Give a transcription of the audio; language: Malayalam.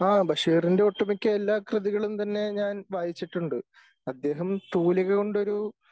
ആ ബഷീറിൻ്റെ ഒട്ടു മിക്ക എല്ലാ കൃതികളും തന്നെ ഞാൻ വായിച്ചിട്ടുണ്ട്. അദ്ദേഹം തൂലിക കൊണ്ടോരു